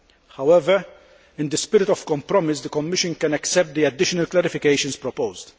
However, in the spirit of compromise, the Commission can accept the additional clarifications proposed.